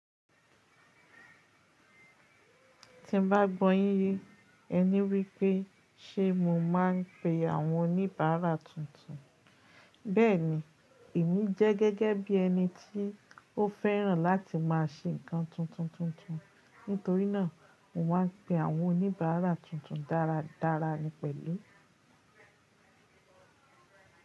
Tí n bá gbọ́ yín yé, ẹni wípé ṣé mo máa ń pe àwọn oníbàárà tuntun. Bẹ́ẹ̀ni, èmi jẹ́ gẹ́gẹ́ bí ẹni tí ó fẹ́ràn láti máa ṣe nǹkan tuntun tuntun. Nítorí náà mo máa ń pe àwọn oníbàárà tuntun dáradára ní pẹ̀lú.